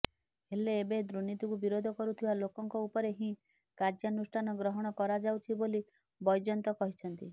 ହେଲେ ଏବେ ଦୁର୍ନୀତିକୁ ବିରୋଧ କରୁଥିବା ଲୋକଙ୍କ ଉପରେ ହିଁ କାର୍ଯ୍ୟାନୁଷ୍ଠାନ ଗ୍ରହଣ କରାଯାଉଛି ବୋଲି ବୈଜୟନ୍ତ କହିଛନ୍ତି